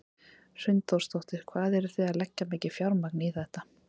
Hrund Þórsdóttir: Hvað eru þið að leggja mikið fjármagn í þetta?